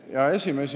Hea esimees!